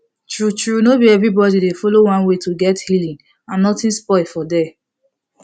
true true no be everybody dey follow one way to get healing and nothing spoil for there